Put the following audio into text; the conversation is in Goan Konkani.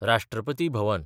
राष्ट्रपती भवन